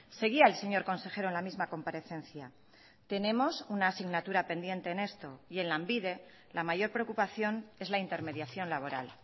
seguía el señor consejero en la misma comparecencia tenemos una asignatura pendiente en esto y en lanbide la mayor preocupación es la intermediación laboral